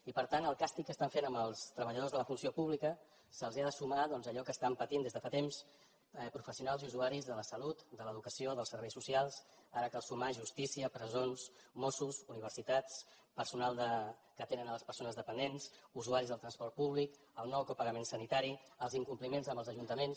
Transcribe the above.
i per tant al càstig que estan fent als treballadors de la funció pública s’hi ha de sumar doncs allò que estan patint des de fa temps professionals i usuaris de la salut de l’educació dels serveis socials ara cal sumar hi justícia presons mossos universitats personal que atenen les persones dependents usuaris del transport públic el nou copagament sanitari els incompliments amb els ajuntaments